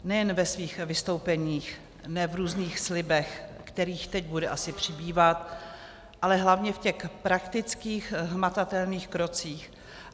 Nejen ve svých vystoupeních, ne v různých slibech, kterých teď bude asi přibývat, ale hlavně v těch praktických hmatatelných krocích.